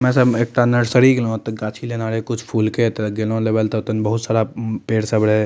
हम्मे सब एकटा नर्सरी गेलो ते गाछी लेनाए रहे कुछ फूल के ते गेलो लेवा ले ते ओता ने बहुत सारा उम्म पेड़ सब रहे।